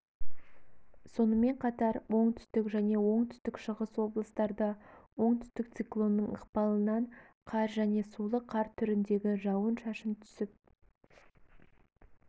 сонымен қатар оңтүстік және оңтүстік-шығыс облыстарда оңтүстік циклонның ықпалынан қар және сулы қар түріндегі жауын-шашын түсіп